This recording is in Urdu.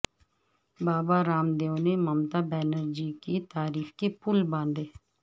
بابا رام دیو نے ممتا بنرجی کی تعریف کے پل باندھے